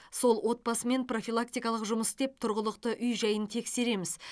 сол отбасымен профилактикалық жұмыс істеп тұрғылықты үй жайын тексереміз